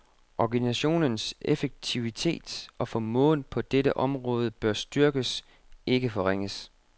Organisationens effektivitet og formåen på dette område bør styrkes, ikke forringes.